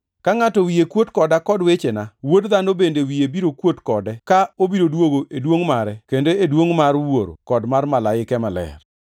Ka ngʼato wiye kuot koda kod wechena, Wuod Dhano bende wiye biro kuot kode ka obiro duogo e duongʼ mare kendo e duongʼ mar Wuoro kod mar malaike maler.